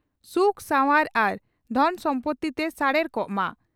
ᱥᱩᱠ ᱥᱟᱣᱟᱨ ᱟᱨ ᱫᱷᱚᱱ ᱥᱚᱢᱯᱳᱛᱛᱤ ᱛᱮ ᱥᱟᱨᱮᱲ ᱠᱚᱜᱼᱢᱟ ᱾